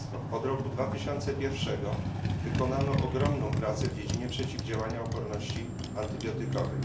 Od roku 2001 wykonano ogromną pracę w dziedzinie przeciwdziałania oporności antybiotykowej.